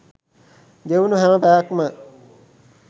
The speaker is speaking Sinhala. ගෙවුණ හැම පැයක්ම